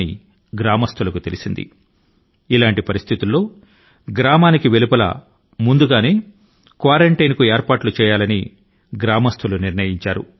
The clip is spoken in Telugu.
పల్లెవాసులు ఈ విషయాన్ని గమనించి వారి సంఘావరోధాని కై గ్రామాని కి వెలుపల ముందస్తు గానే ఏర్పాట్లు చేయాలని నిర్ణయించారు